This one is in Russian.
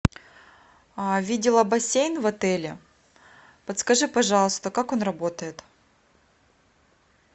видела бассейн в отеле подскажи пожалуйста как он работает